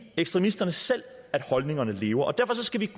ekstremisterne selv at holdningerne lever og derfor skal vi